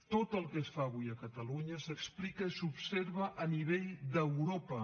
tot el que es fa avui a catalunya s’explica i s’observa a nivell d’europa